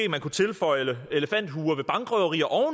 tilføje elefanthuer ved bankrøverier og